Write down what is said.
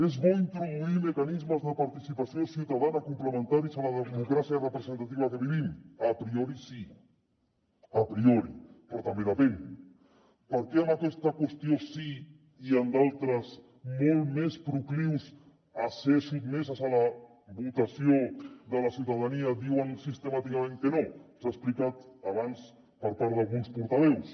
és bo introduir mecanismes de participació ciutadana complementaris a la democràcia representativa que vivim a priorid’altres molt més proclius a ser sotmeses a la votació de la ciutadania diuen sistemàticament que no s’ha explicat abans per part d’alguns portaveus